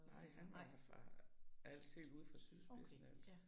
Nej, han var fra Als. Helt ude fra sydspidsen af Als